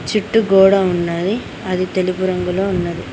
చుట్టూ గోడ ఉన్నది అది తెలుపు రంగులో ఉన్నది.